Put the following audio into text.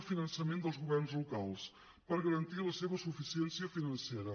el finançament dels governs locals per garantir la seva suficiència financera